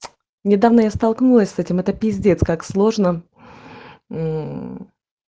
недавно я столкнулась с этим это п как сложно